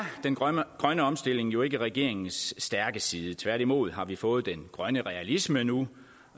den grønne grønne omstilling jo ikke regeringens stærke side tværtimod har vi fået den grønne realisme nu